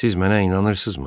Siz mənə inanırsızmı?